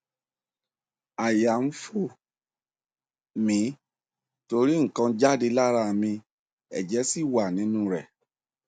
àyà ń fò mí torí nǹkan jáde lára mi ẹjẹ sì wà nínú rẹ